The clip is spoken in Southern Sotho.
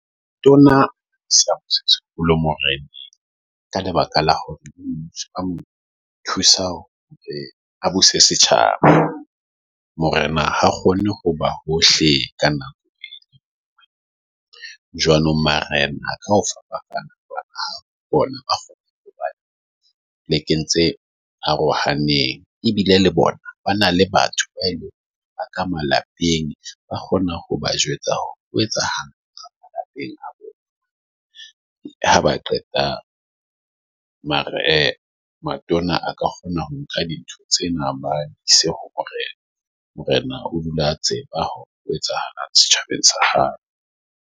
Tona kgolo, Morena, ka lebaka la ho thusa setjhaba. Morena ha kgone ho ba hohle ka nako. Jwanong marena a ka bona ba le kentse arohaneng ebile le bona . Ba na le batho ba ka malapeng, ba kgona ho ba jwetsa ho etsahalang ka malapeng. Ha ba qeta mara matona a ka kgona ho nka dintho tsena ba ise ho morena. Morena o dula a tseba hore ho etsahalang setjhabeng sa hae.